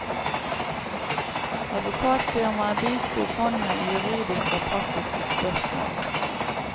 Advokatfirmaet bisto fondet i juridiske og praktiske spørsmål.